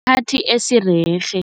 Esirerhe.